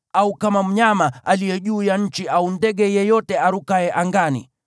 au kama mnyama aliye juu ya nchi au ndege yeyote arukaye angani,